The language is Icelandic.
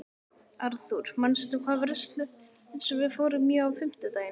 Arthur, manstu hvað verslunin hét sem við fórum í á fimmtudaginn?